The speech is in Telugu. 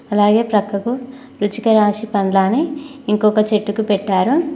అలాగే ప్రక్కకు వృచిక రాసి పండ్లు అని ఇంకొక చెట్టుకి పెట్టారు.